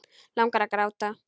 Langar að gráta.